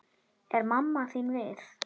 Er mamma þín við?